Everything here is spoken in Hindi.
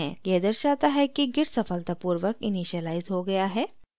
यह दर्शाता है कि git सफलतापूर्वक इनिशियलाइज़ हो गया है